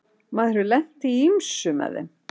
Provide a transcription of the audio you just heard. Maður hefur lent í ýmsu með þeim.